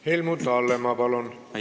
Helmut Hallemaa, palun!